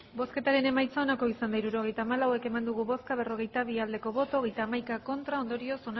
hirurogeita hamalau eman dugu bozka berrogeita bi bai hogeita hamaika ez bat